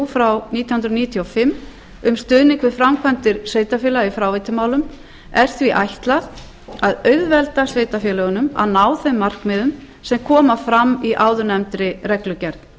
þrjú nítján hundruð níutíu og fimm um stuðning við framkvæmdir sveitarfélaga í fráveitumálum er því ætlað að auðvelda sveitarfélögunum að ná þeim markmiðum sem koma fram í áðurnefndri reglugerð